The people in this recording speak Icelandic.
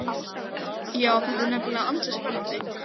Já, þetta er nefnilega ansi spennandi.